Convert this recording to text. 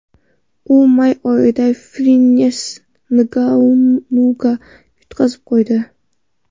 U may oyida Frensis Ngannuga yutqazib qo‘ydi.